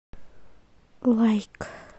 лайк